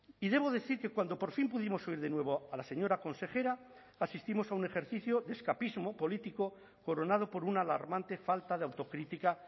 y debo decir que cuando por fin pudimos oír de nuevo a la señora consejera asistimos a un ejercicio de escapismo político coronado por una alarmante falta de autocrítica